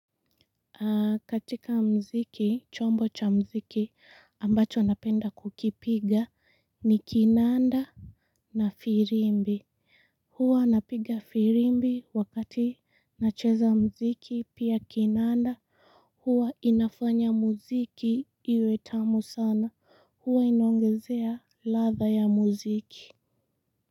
Katika mziki chombo cha mziki ambacho napenda kukipiga ni kinanda na firimbi huwa napiga firimbi wakati nacheza mziki pia kinanda huwa inafanya mziki iwetamu sana huwa inaongezea latha ya mziki.